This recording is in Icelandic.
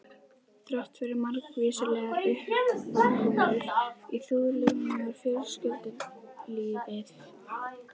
Þráttfyrir margvíslegar uppákomur í þjóðlífinu var fjölskyldulífið á